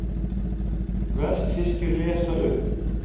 Vestfirskir lesa upp